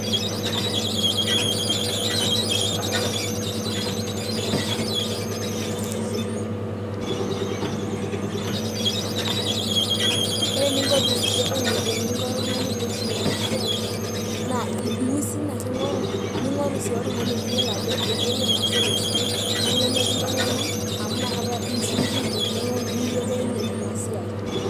Ore eninko oltung'ani peyie isum ena siai naa iusin ake ing'oru. ning'oru sii oltung'ani niyiolo ajo eyiolo enasiai esidai nilo mikintengena amu inakata sii iyie itum engeno niyiolounye ena siai.